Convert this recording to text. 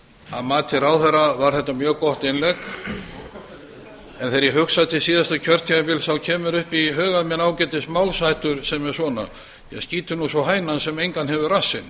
að mati ráðherra var þetta mjög gott innlegg en þegar ég hugsa til síðasta kjörtímabils kemur upp í huga mér ágætismálsháttur sem er svona skítur nú sú hænan sem engan hefur rassinn